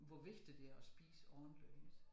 Hvor vigtigt det er at spise ordentligt ikke også